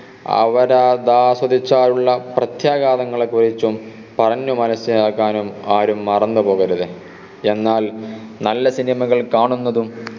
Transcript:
അവരതാ സ്വദിച്ചാലുള്ള പ്രത്യാഗാതങ്ങളെ കുറിച്ചും പറഞ്ഞു മനസിലാക്കാനും ആരും മറന്ന് പോകരുത് എന്നാൽ നല്ല cinema കൾ കാണുന്നതും